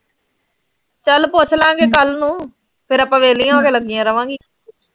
ਚਲ ਪੁੱਛਲਾਂ ਗੀਆਂ ਕੱਲ ਨੂੰ, ਫੇਰ ਆਪਾਂ ਵਿਹਲੀਆਂ ਉਥੇ ਲੱਗੀਆਂ ਰਵਾਂਗੀਆਂ।